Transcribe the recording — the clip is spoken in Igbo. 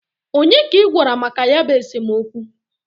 Onye ka I gwara maka ya bụ esemokwu?